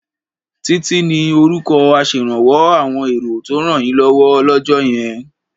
Títí ni orúkọ aṣèrànwọ́ àwọn èrò tó rànyínlọ́wọ́ lọ́jọ́ yẹn